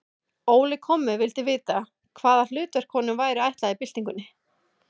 Óli kommi vildi vita, hvaða hlutverk honum væri ætlað í byltingunni.